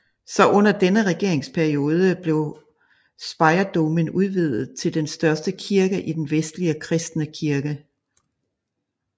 Så under denne regeringsperiode blev Speyerdomen udvidet til den største kirke i den vestlige kristne verden